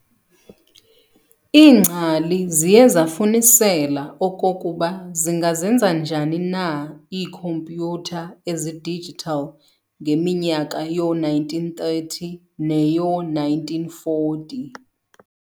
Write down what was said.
Iingcali ziye zafunisela okokuba zingazenza njani na iikhomputha ezi-digital ngeminyaka yoo-1930 neyoo- 1940.